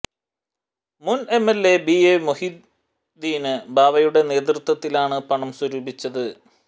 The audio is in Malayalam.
മുന് എംഎല്എ ബി എ മൊഹിയുദ്ദീന് ബാവയുടെ നേതൃത്വത്തിലാണ് പണം സ്വരൂപിച്ചത്